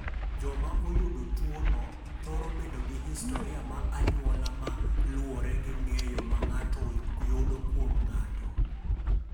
"Joma oyudo tuwono, thoro bedo gi historia mar anyuola ma luwore gi ng’eyo ma ng’ato yudo kuom ng’ato."